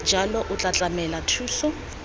jalo o tla tlamela thuso